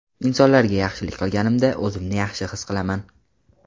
Insonlarga yaxshilik qilganimda, o‘zimni yaxshi his qilaman.